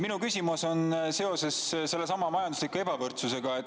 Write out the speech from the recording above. Minu küsimus on seoses sellesama majandusliku ebavõrdsusega.